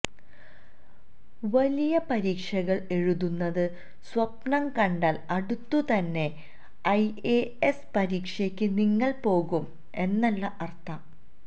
വലിയ പരീക്ഷകൾ എഴുതുന്നത് സ്വപ്നംകണ്ടാൽ അടുത്തുതന്നെ ഐഎഎസ് പരീക്ഷയ്ക്ക് നിങ്ങൾ പോകും എന്നല്ല അർഥം